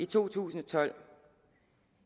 to tusind og tolv